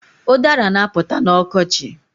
Udara na-apụta n'ọkochi